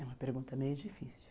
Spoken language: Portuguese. É uma pergunta meio difícil.